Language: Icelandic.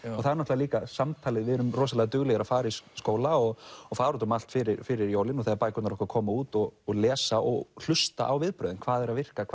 það er líka samtalið við erum duglegir að fara í skóla og og fara út um allt fyrir fyrir jólin og þegar bækurnar okkar koma út og og lesa og hlusta á viðbrögðin hvað virkar